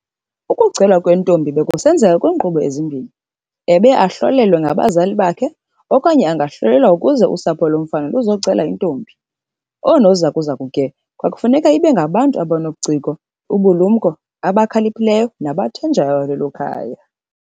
Ukucelwa kwentombi bekusenzeka kwinkqubo ezimbini, ebeye ahlolelwe ngabazali bakhe okanye angahlolelwa kuze usapho lomfana luzocela intombi. Oonozakuzaku ke kwakufuneka ibe ngabantu abanobuciko, ubulumnko, abakhaliphileyo nabathenjwayo lelo khaya.